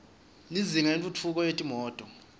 lizinga lentfutfu ko yetimoto